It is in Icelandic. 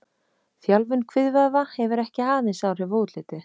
Þjálfun kviðvöðva hefur ekki aðeins áhrif á útlitið.